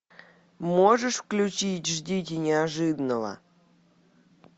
можешь включить ждите неожиданного